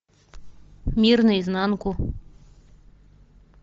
мир наизнанку